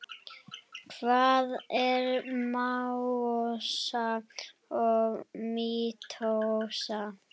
Hvað er meiósa og mítósa?